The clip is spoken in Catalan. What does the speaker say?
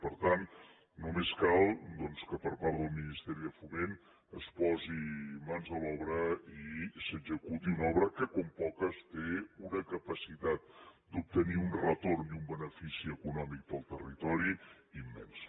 per tant només cal doncs que per part del ministeri de foment es posi mans a l’obra i s’executi una obra que com poques té una capacitat d’obtenir un retorn i un benefici econòmic per al territori immensos